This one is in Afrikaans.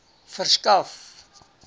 verskaf